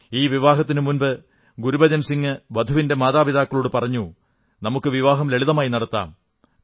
ഈ വിവാഹത്തിനു മുമ്പ് ഗുരുബചൻ സിംഗ് വധുവിന്റെ മാതാപിതാക്കളോടു പറഞ്ഞു നമുക്ക് വിവാഹം ലളിതമായി നടത്താം